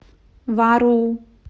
вару